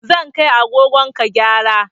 Zan kai agogon ka gyara